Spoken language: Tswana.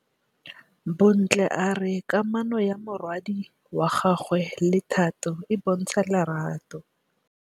Bontle a re kamanô ya morwadi wa gagwe le Thato e bontsha lerato.